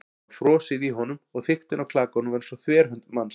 Það var frosið í honum- og þykktin á klakanum var eins og þverhönd manns.